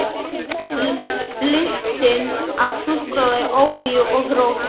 Lyktin af súkkulaði, olíu og rósum.